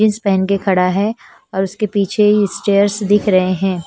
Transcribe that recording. Jeans पेहन के खड़ा है और उसके पीछे ही चेयर्स दिख रहे हैं।